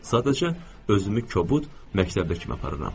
Sadəcə özümü kobud məktəbli kimi aparıram.